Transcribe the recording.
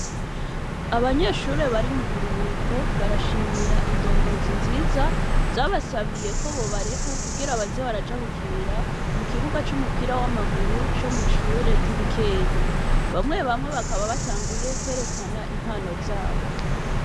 Abanyeshure bari mu buruhuko, barashimira indongozi nziza zabasabiye ko bobareka kugira baze baraja gukinira mu kibuga c'umupira w'amaguru co mw'ishure ry'i Bukeye. Bamwe bamwe bakaba batanguye kwerekana impano zabo.